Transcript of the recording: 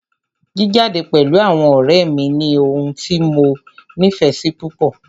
Jíjade pẹ̀lú àwọn ọ̀rẹ́ mí ní ohun tí mo nífẹsí púpọ.